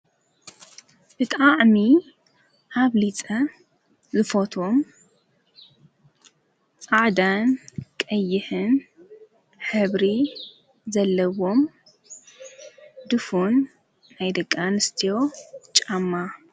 ብጣዕሚ ኣብሊፀ ዝፎትዎም ፃዕዳን ቀይሕን ሕብሪ ዘለዎም ድፉን ናይ ደቂን ኣንስትዮ ጫማ፣